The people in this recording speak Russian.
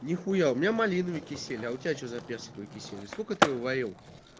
ни хуя у меня малиновый кисель а у тебя что за персиковый кисель сколько ты его варил